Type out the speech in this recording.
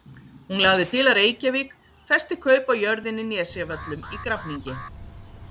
Hún lagði til að Reykjavík festi kaup á jörðinni Nesjavöllum í Grafningi.